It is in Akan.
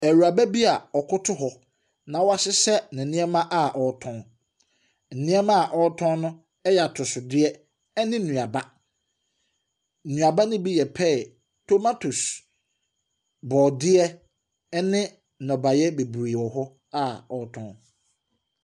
Ewuraba bi a ɔkoto hɔ na wɔahyehyɛ ne nneɛma a ɔretɔn. Nneɛma ɔretɔn no ɛyɛ atɔsodeɛ ɛne nnuaba. Nnuaba ne bi yɛ pear, tomatose, borɔdeɛ ɛne nnɔbaeɛ bebree wɔ hɔ a ɔretɔn.